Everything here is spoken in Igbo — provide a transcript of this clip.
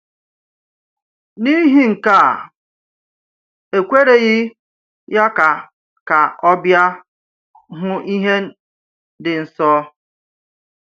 N’ihi nke a, e kwereghị ya ka ka ọ bịa hụ ihe dị nsọ.